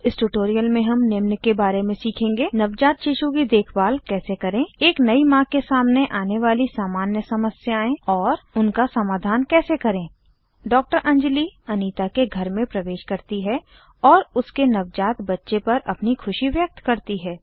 इस ट्यूटोरियल में निम्न के बारे में सीखेंगे160 नवजात शिशु की देखभाल कैसे करें एक नयी माँ के सामने आने वाली सामान्य समस्याएं और उनका समाधान कैसे करें डॉक्टर अंजली अनीता के घर में प्रवेश करती है और उसके नवजात बच्चे पर अपनी खुशी व्यक्त करती है